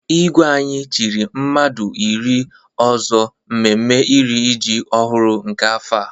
Igwe anyị chiri mmadụ iri ọzọ mmemme iri iji ọhụrụ nke afọ a.